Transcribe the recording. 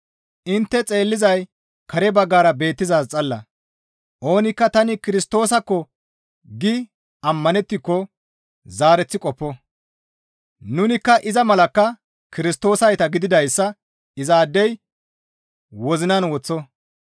Intte xeellizay kare baggara beettizaaz xalla; oonikka tani Kirstoosasko gi ammanettiko zaareththi qoppo; nunikka iza malakka Kirstoosayta gididayssa izaadey wozinan woththo.